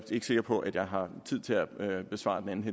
ikke sikker på at jeg har tid til at besvare den anden